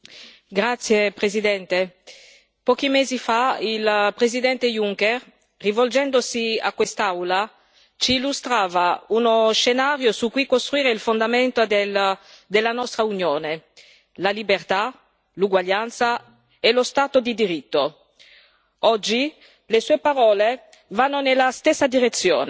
Signor Presidente, onorevoli colleghi, pochi mesi fa il Presidente Juncker, rivolgendosi a quest'Aula, ci illustrava uno scenario su cui costruire il fondamento della nostra Unione la libertà, l'uguaglianza e lo Stato di diritto. Oggi le sue parole vanno nella stessa direzione